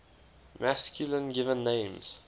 masculine given names